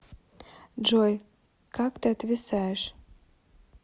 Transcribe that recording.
джой как ты отвисаешь